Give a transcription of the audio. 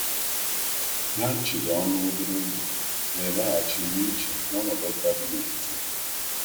Ha chịrị ọnụ obere oge, wee laghachi na iche n’ọnọdụ ka dị n’etiti ha.